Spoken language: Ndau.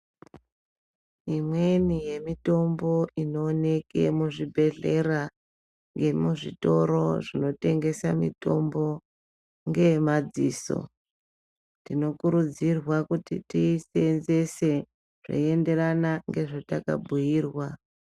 Imweni yemitombo inooneke muzvibhedhlera yemuzvitoro zvinotengesa mitombo, ngeemadziso. Tinokurudzirwa kuti tiiseenzese zveienderana ngezvatakabhuyirwa.